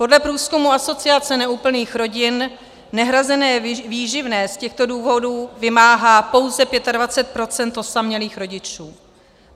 Podle průzkumu Asociace neúplných rodin nehrazené výživné z těchto důvodů vymáhá pouze 25 % osamělých rodičů.